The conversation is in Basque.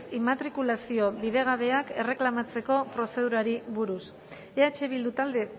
immatrikulazio bidegabeak erreklamatzeko prozedurari buruz eh bildu talde